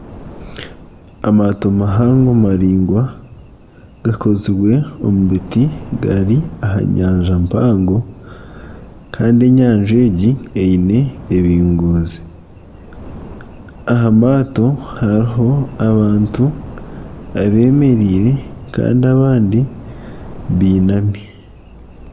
Amaato mahango maraingwa gakozirwe omu biti gari aha nyanja mpango kandi enyanja egi eine ebingoozi, aha maato hariho abantu abemereire kandi abandi binami.